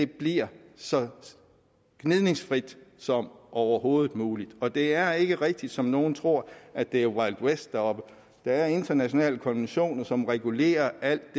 bliver så gnidningsløst som overhovedet muligt og det er ikke rigtigt som nogle tror at det er wild west deroppe der er internationale konventioner som regulerer alt